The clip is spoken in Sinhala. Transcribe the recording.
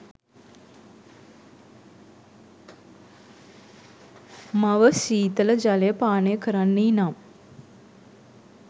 මව ශීතල ජලය පානය කරන්නී නම්